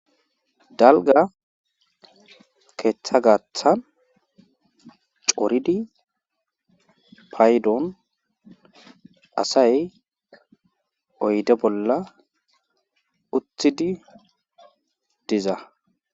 Dalgga keetha gaathan coridi paydon asay oyde bolla uttidi diza.